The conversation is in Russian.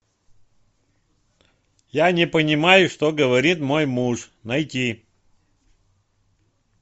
я не понимаю что говорит мой муж найти